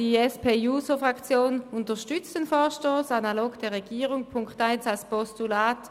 Die SP-JUSO-PSA-Fraktion unterstützt den Vorstoss analog zur Regierung in Punkt 1 als Postulat.